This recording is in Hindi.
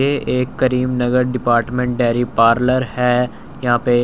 ये एक क्रीम नगर डिपार्टमेंट डेयरी पार्लर है यहां पे--